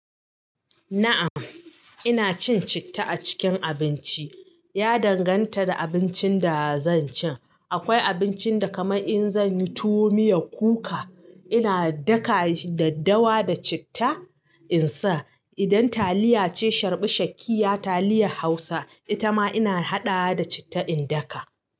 Na'am, ina cin citta a cikin abinci. Ya danganta da abincin da zan ci. Akwai abincin da kamar in zan yi tuwo miya kuka, ina daka daddawa da citta in sa. Idan taliya ce, sharɓi shakiya taliya Hausa, ita ma ina haɗa da citta in daka.